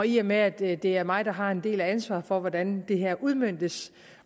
i og med at det det er mig der har en del af ansvaret for hvordan det her udmøntes